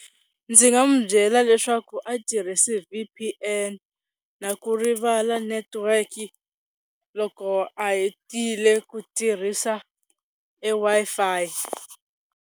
Ndzi nga mu byela leswaku a tirhisa V_P_N na ku rivala network-i loko a hetile ku tirhisa e Wi-Fi.